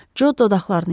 Co dodaqlarını yaladı.